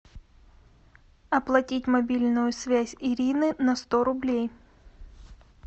оплатить мобильную связь ирины на сто рублей